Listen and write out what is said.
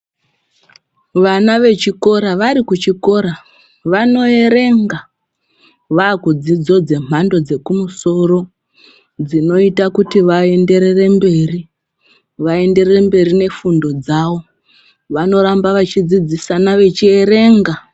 Wana wechikora wari kuchikora wanoerenga wakudzidzo dzemhando dzekumusoro dzinoita kuti waenderere mberi, waenderere mberi nefundo dzawo, wanoramba waidzidzisana wechierenga.